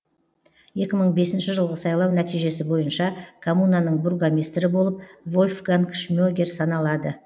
екі мың бесінші жылғы сайлау нәтижесі бойынша коммунаның бургомистрі болып вольфганг шмегер саналады